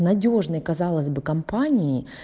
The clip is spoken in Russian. надёжной казалось бы компании